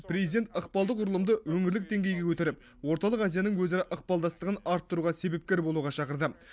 президент ықпалды құрылымды өңірлік деңгейге көтеріп орталық азияның өзара ықпалдастығын арттыруға себепкер болуға шақырды